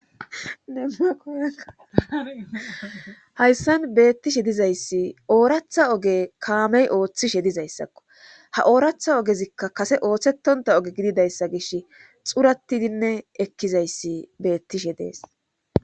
hayssan beettishe dizayssi ooratha oge kaamey ooththishe dizayssakko ha ooratha ogezikka kase ooththetonta oge gididayssa gish xuratidinne ekkizayssi beettishe dees